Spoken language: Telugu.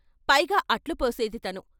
పైగా అట్లుపోసేది తను.